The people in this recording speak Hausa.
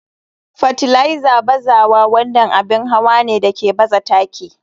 Fartiliser bazawa wannan abin hawa ne da ke baza taki.